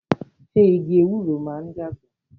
Ṣé igi ewúro náà ń dàgbà?